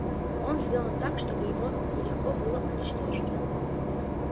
он сделан так чтобы его нелегко было уничтожить